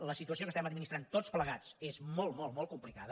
la situació que estem administrant tots plegats és molt molt complicada